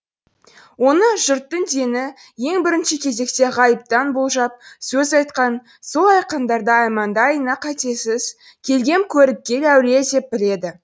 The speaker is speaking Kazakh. оны жұрттың дені ең бірінші кезекте ғайыптан болжап сөз айтқан сол айтқандары әманда айна қатесіз келгем көріпкел әулие деп біледі